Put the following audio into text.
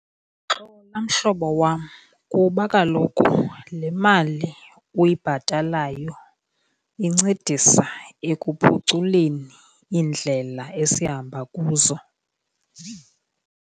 Xola mhlobo wam kuba kaloku le mali uyibhatalayo incedisa ekuphuculeni iindlela esihamba kuzo.